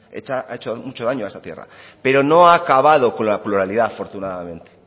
eta ha hecho mucho daño a esta tierra pero no ha acabado con la pluralidad afortunadamente